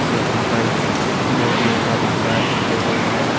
यहां पर बोरियों का भंडार दिखाई दे रहा है।